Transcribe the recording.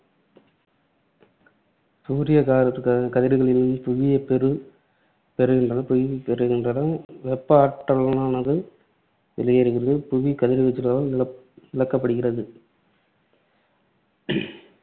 சூரியக் கா~ கா~ கதிர்களிலிருந்து புவி பெறு~ பெறுகின்ற பெறுகின்றனவெப்ப ஆற்றலானது வெளியேறுகிறது புவி கதிர்வீச்சலால் இழக்கப்படுகிறது.